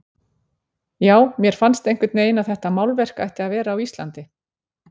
Já, mér fannst einhvern veginn að þetta málverk ætti að vera á Íslandi.